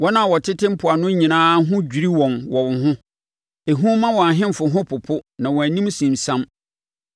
Wɔn a wɔtete mpoano nyinaa ho adwiri wɔn wɔ wo ho; ehu ma wɔn ahemfo ho popo na wɔn anim sinsiam.